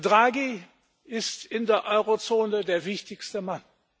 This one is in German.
Draghi ist in der Eurozone der wichtigste Mann.